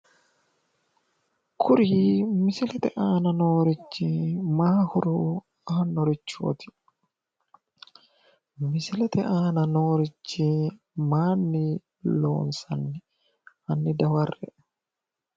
Kuri misilete aana noorichi mayi horo aannorichooti? Misilete aana nooricho mayinni loonsanni? Hanni dawarre.